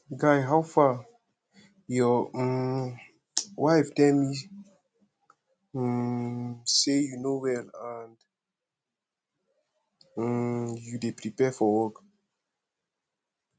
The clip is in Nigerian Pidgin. guy howfaryour um wife tell me um say you no well and um you dey prepare for work